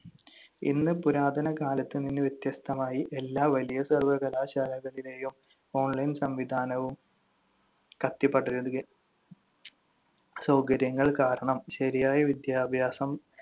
ഇന്ന് പുരാതന കാലത്ത് നിന്ന് വ്യത്യസ്തമായി എല്ലാ വലിയ സർവകലാശാലകളിലെയും online സംവിധാനവും കത്തിപ്പടരുക സൗകര്യങ്ങൾ കാരണം ശരിയായ വിദ്യാഭ്യാസം